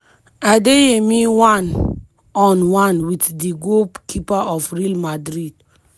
adeyemi one-on-one wit di goalkeeper of real madrid.